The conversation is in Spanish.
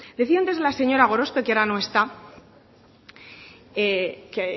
decía antes la señora gorospe que ahora no está que